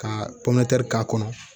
Ka k'a kɔnɔ